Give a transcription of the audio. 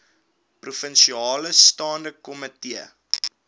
provinsiale staande komitee